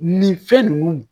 Nin fɛn ninnu